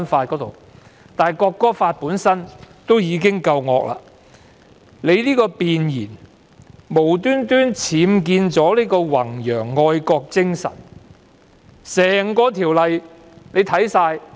《條例草案》本身已是一條惡法，其弁言更無故僭建了"弘揚愛國精神"這個提述。